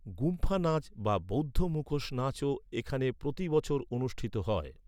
গুম্ফা নাচ বা বৌদ্ধ মুখোশ নাচও এখানে প্রতি বছর অনুষ্ঠিত হয়।